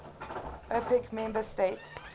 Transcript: opec member states